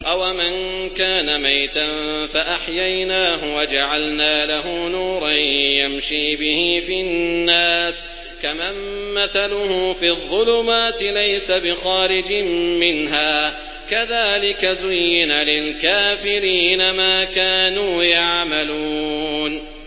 أَوَمَن كَانَ مَيْتًا فَأَحْيَيْنَاهُ وَجَعَلْنَا لَهُ نُورًا يَمْشِي بِهِ فِي النَّاسِ كَمَن مَّثَلُهُ فِي الظُّلُمَاتِ لَيْسَ بِخَارِجٍ مِّنْهَا ۚ كَذَٰلِكَ زُيِّنَ لِلْكَافِرِينَ مَا كَانُوا يَعْمَلُونَ